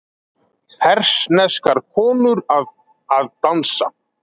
Persneskar konur að dansa.